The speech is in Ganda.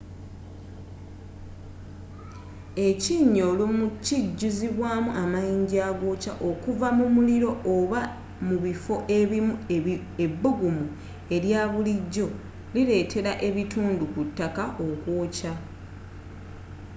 ekinnya olumu kijuzibwamu amayinza agookya okuva mu muliro oba mu bifo ebimu ebbugumu elyabulijjo liletera ebitundu ku ttaka okwokya